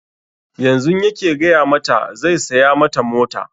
Yanzun yake gaya mata zai saya mata mota